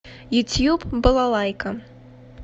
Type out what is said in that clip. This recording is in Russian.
ютьюб балалайка